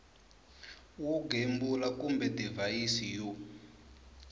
wo gembula kumbe divhayisi yo